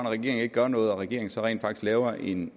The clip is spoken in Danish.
regeringen ikke gør noget og regeringen så rent faktisk laver en